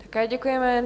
Také děkujeme.